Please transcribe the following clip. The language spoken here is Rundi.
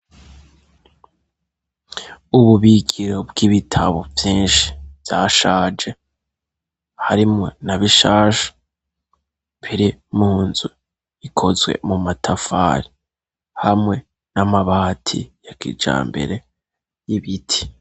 Ububikiro bw'ibitabo vyinshi vyashaje harimwo na bishasha biri mu nzu ikozwe mu matafari hamwe n'amabati ya kijambere y'ibiti.